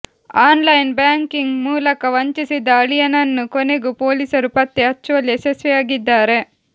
online banking ಮೂಲಕ ವಂಚಿಸಿದ ಅಳಿಯನನ್ನು ಕೊನೆಗೂ ಪೊಲೀಸರು ಪತ್ತೆ ಹಚ್ಚುವಲ್ಲಿ ಯಶಸ್ವಿಯಾಗಿದ್ದಾರೆ